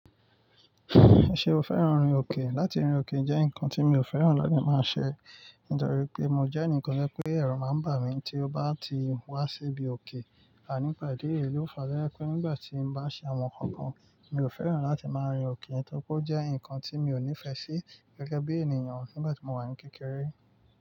Ṣé o fẹ́ràn rin òkè? Látì rin òkè jẹ́ nǹkan tí mi o fẹ́ràn láti máa ṣẹ̀. Nítorí pé mo jẹ́ ẹnìkan to jẹ́ pé ẹ̀ru máa ń bà mí tí ó bá ti wá sí ibi òkè. Nipa idi ẹ̀yi lo fà to jẹ́ pé nígbà tí n bá ṣe àwọn nǹkan kan mi ò fẹ́ràn láti máa rin òkè torí pé ó jẹ́ nǹkan tí mi ò nífẹsí gẹ́gẹ́ bí ènìyàn nígbà tí mo wà ní kékeré.